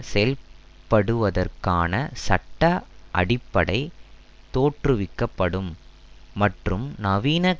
செயல்படுத்தப்படுவதற்கான சட்ட அடிப்படை தோற்றுவிக்க படும் மற்றும் நவீன